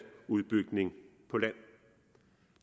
udbygning på land